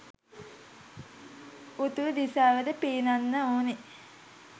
උතුරු දිසාවට පීනන්න ඕනෙ.